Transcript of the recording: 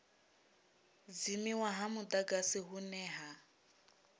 dzimiwa ha mudagasi hune ha